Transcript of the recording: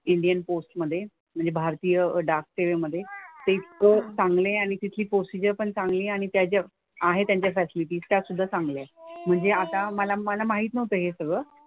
Indian post मधे. म्हणजे भारतीय डाक सेवेमधे. ते खूप चांगले आहे आणि तिथली प्रोसिजर पण चांगली आहे आणि त्या ज्या आहे त्यांच्यासारखी. सुद्धा चांगली आहे. म्हणजे आता मला मला माहित नव्हतं हे सगळं.